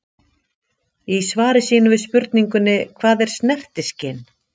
Í svari sínu við spurningunni Hvað er snertiskyn?